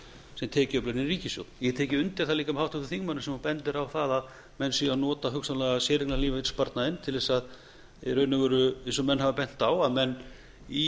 sem tekjuöflun inn í ríkissjóð ég get tekið undir það líka með háttvirtum þingmanni sem hún bendir á það að menn séu að nota hugsanlega séreignarlífeyrissparnaðinn til þess í raun og veru eins og menn hafa bent á í